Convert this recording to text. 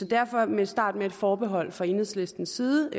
derfor vil jeg starte med et forbehold fra enhedslistens side